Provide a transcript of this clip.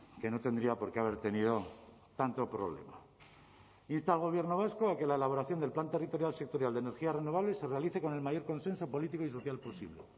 que no tendría por qué haber tenido tanto problema insta al gobierno vasco a que la elaboración del plan territorial sectorial de energías renovables se realice con el mayor consenso político y social posible